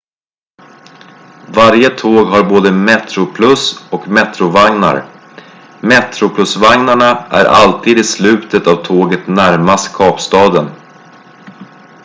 varje tåg har både metroplus och metro-vagnar metroplus-vagnarna är alltid i slutet av tåget närmast kapstaden